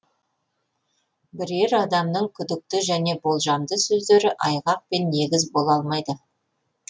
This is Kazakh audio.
бірер адамның күдікті және болжамды сөздері айғақ пен негіз бола алмайды